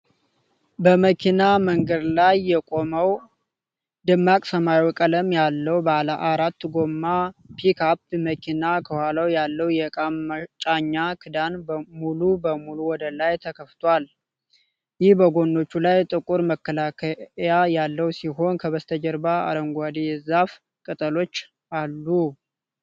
በመኪና መንገድ ላይ የቆመው ደማቅ ሰማያዊ ቀለም ያለው ባለ አራት ጎማ ፒክአፕ መኪና ከኋላው ያለው የእቃ መጫኛ ክዳን ሙሉ በሙሉ ወደ ላይ ተከፍቶአለ፣ ይህም በጎኖቹ ላይ ጥቁር መከላከያ ያለው ሲሆን፣ ከበስተጀርባው አረንጓዴ የዛፍ ቅጠሎች አሉ።